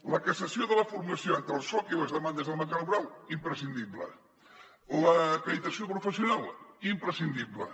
la cassació de la for·mació entre el soc i les demandes del mercat laboral imprescindible l’acreditació professional imprescindible